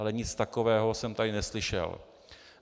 Ale nic takového jsem tady neslyšel.